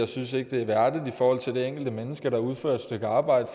synes det er værdigt for det enkelte menneske der udfører et stykke arbejde